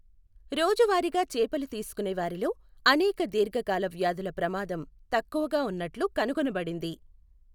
రోజువారిగా చేపలు తీసుకునేవారిలో అనేక దీర్ఝకాల వ్యాధుల ప్రమాదం తక్కువగా ఉన్నట్లు కనుగొనబడింది.